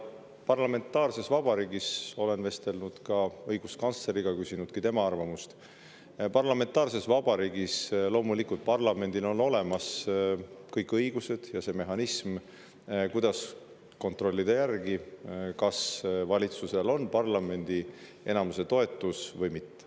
Parlamentaarses vabariigis – olen vestelnud ka õiguskantsleriga, küsinud tema arvamust – on parlamendil loomulikult olemas kõik õigused ja ka mehhanism, kuidas kontrollida, kas valitsusel on parlamendi enamuse toetus või mitte.